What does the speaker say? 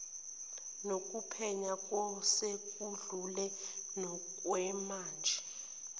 nokuphenya ngosekwedlule nokwamanje